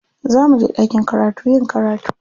Za muje ɗakin karatu yin karatu.